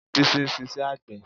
Bísí ń ṣiṣẹ́ àgbẹ̀